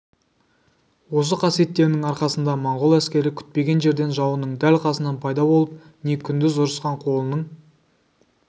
осы қасиеттерінің арқасында монғол әскері күтпеген жерден жауының дәл қасынан пайда болып не күндіз ұрысқан қолының